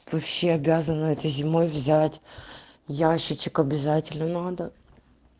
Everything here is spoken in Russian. вообще обязан этой зимой взять ящичек обязательно надо